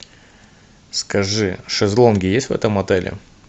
скажи шезлонги есть в этом отеле